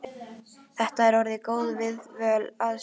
Þetta er orðin góð viðdvöl að sinni.